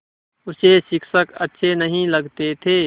उसे शिक्षक अच्छे नहीं लगते थे